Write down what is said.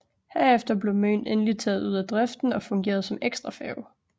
Herefter blev Møn endelig taget ud af driften og fungerede som ekstrafærge